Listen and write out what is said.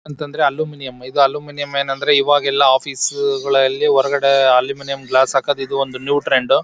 ಅಂತಂದ್ರೆ ಅಲ್ಯೂಮಿನಿಯಂ ಇದ್ ಅಲ್ಯೂಮಿನಿಯಂ ಏನಂದ್ರೆ ಇವಾಗೆಲ್ಲಾ ಆಫೀಸ್ ಗಳಲ್ಲಿ ಹೊರಗಡೆ ಅಲ್ಯೂಮಿನಿಯಂ ಗ್ಲಾಸ್ ಹಾಕೋದ್ ಇದು ಒಂದು ನ್ಯೂ ಟ್ರೆಂಡು .